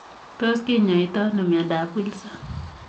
Tos kinyaitoo anoo miandap Wilson?